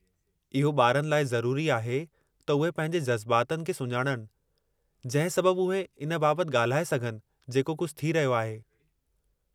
इहो ॿारनि लाइ ज़रूरी आहे त उहे पंहिंजे जज़्बातनि खे सुञाणणु, जंहिं सबबु उहे इन बाबतु ॻाल्हाए सघनि जेको कुझु थी रहियो आहे।